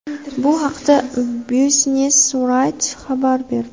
Bu haqda Business Wire xabar berdi .